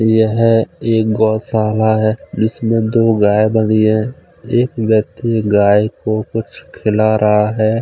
यह एक गौशाला है जिसमें दो गाय बंधी हैं एक व्यक्ति गाय को कुछ खिला रहा है।